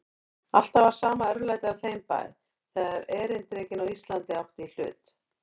Alltaf var sama örlætið á þeim bæ, þegar erindrekinn á Íslandi átti í hlut.